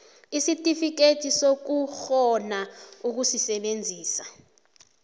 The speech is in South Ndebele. isitifikhethi sokukghona ukusebenzisa